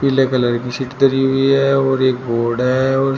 पीले कलर की सीट धरी हुई है और एक बोर्ड है और--